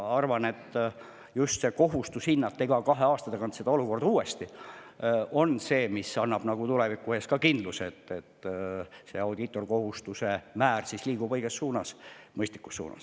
Arvan, et just kohustus iga kahe aasta tagant olukorda uuesti hinnata on see, mis annab tulevikuks kindluse, et audiitorkohustuse määr liigub õiges ja mõistlikus suunas.